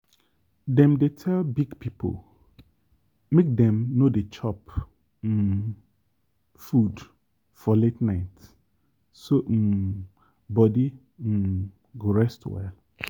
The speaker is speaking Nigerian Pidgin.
dem dey tell big people make dem no dey chop um food for late night so um body um go rest well.